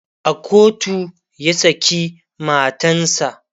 a kotu ya saki matansa